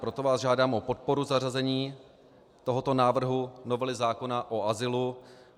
Proto vás žádám o podporu zařazení tohoto návrhu novely zákona o azylu.